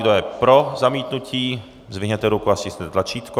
Kdo je pro zamítnutí, zdvihněte ruku a stiskněte tlačítko.